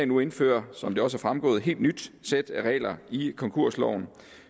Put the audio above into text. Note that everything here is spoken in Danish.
nu indføre som det også er fremgået et helt nyt sæt af regler i konkursloven